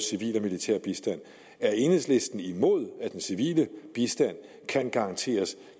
militær bistand er enhedslisten imod at den civile bistand kan garanteres